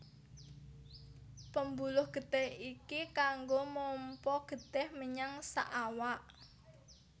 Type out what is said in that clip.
Pembuluh getih iki kanggo mompa getih menyang saawak